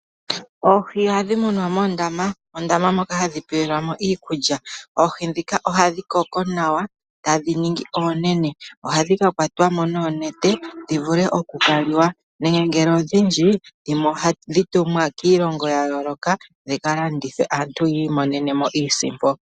Oohi ohadhi munwa moondama. Moondama moka hadhi pelwa mo iikulya. Oohi ndhika ohadhi koko nawa , tadhi ningi oonene. Ohadhi kakwatwa mo noonete dhivule okukala, nenge ngele odhindji dhimwe ohadhi tumwa kiilongo yayooloka yopo aantu yiimonene iisimpo.